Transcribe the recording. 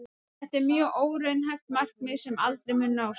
Þetta er mjög óraunhæft markmið sem aldrei mun nást.